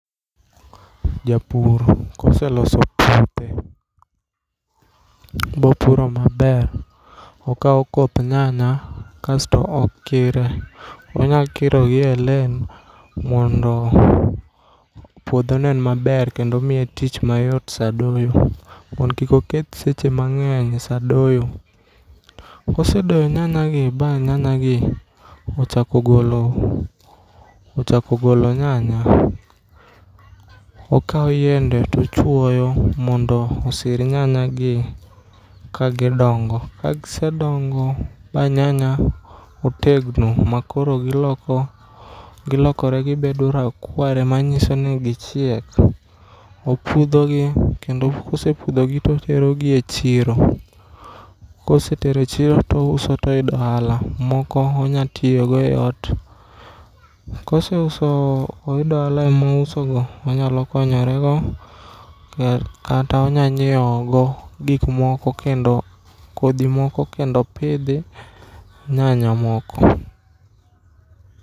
Japur koseloso puothe, bopuro maber, okao koth nyanya kasto okire. Onyalo kiro gi e lane, mondo puodho onen maber, kendo miye tich mayot saa doyo. Mondo kik oketh seche mangény sa doyo. Kosedoyo nyanyagi, ba nyanya gi ochako golo, ochako golo nyanya, okao yiende to ochwoyo mondo osir nyanya gi ka gidongo. Ka gisedongo, ba nyanya otegno, ma koro giloko gilokore gibedo rakware, ma nyiso ni gichiek, opudho gi. Kendo kosepudho gi to oterogi e chiro. Ka osetero e chiro to ouso to oyudo ohala. Moko onya tiyogo e ot. Koseuso, oyudo ohala e mousogo, onyalo konyore go, kata onyalo nyiewo go gik moko kendo, kodhi moko kendo opidhi nyanya moko.